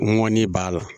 Ŋɔni b'a la